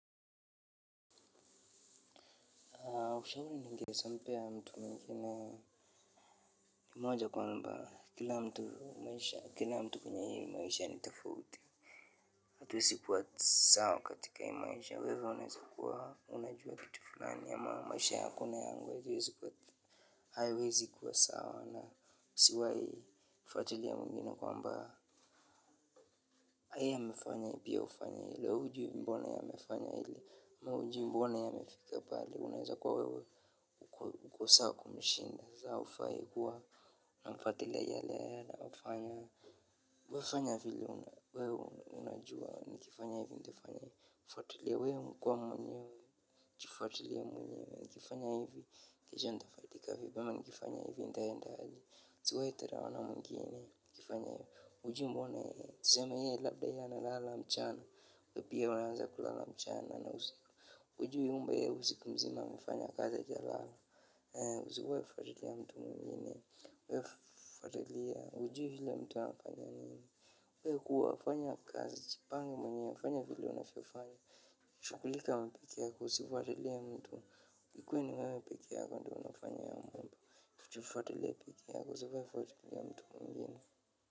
Moja kwamba kila mtu maisha, kila mtu kwenye hii maisha ni tafauti. Hatuwezi kuwa sawa katika hii maisha wewe unaeza kuwa unajua kitu fulani ama maisha yako na yangu haiwezi kuwa sawa na usiwai mfatilia mwengine kwambaa. Yeye amefanya pia ufanye hili wewe hujui mbona yeye amefanya hili ama hujui mbona yeye amefika pale unaweza kuwa wewe uko sawa kumshinda. Unafuatilia yale yeye anayofanya wewe fanya vile wewe unajua nikifanya hivi ntafanya fuatilia wewe kwa mwenyewe jifuatilie mwenyewe nikifanya hivi kisha ntafaidika vipi ama nikifanya hivi ntaendaje usiwai dharawa na wengine ukifanya hivyo hujui mbona tuseme yeye labda yeye analala mchana we pia unaanza kulala mchana na usiku hujui kwamba yeye usiku mzima amefanya kazi hajalala. Usiwai fuatilia mtu mwengine wewe fuatilia hujui ule mtu anafanya nini. Wewe kuwa fanya kazi jipange mwenyewe fanya vile unavyofanya shughulika wewe peke yako usifuatilie mtu ikuwe ni wewe peke yako ndio unafanya hiyo mambo jifuatilie peke yako usiwai fuatilia mtu mwengine.